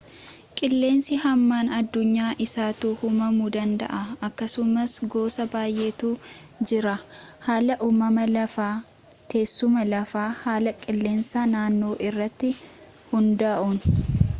qilleensii hamaan addunyaa essattuu uumamuu danda'a akkasumas goosa bayyeetu jira haala uumama lafaa teessuma lafaa haala qilleensa naannoo irratti hundaa'uun